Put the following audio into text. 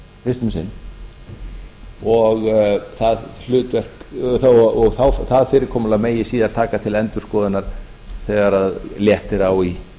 fyrst um sinn og það fyrirkomulag megi síðan taka til endurskoðunar þegar léttir á í